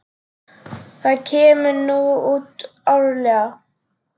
Það kemur nú út árlega.